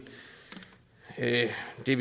det